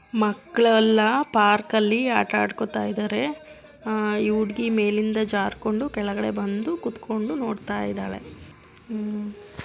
ಮಕ್ಕಳೆಲ್ಲಾ ಪಾರ್ಕಲ್ಲಿ ಆಟ ಆಡ್ಕೋತಾ ಇದಾರೆ. ಆ ಈ ಹುಡುಗಿ ಮೇಲಿಂದ ಜಾರ್ಕೊಂಡು ಕೆಳಗಡೆ ಬಂದು ಕೂತ್ಕೊಂಡು ನೋಡ್ತಾ ಇದಾಳೆ. ಮ್ಮ್--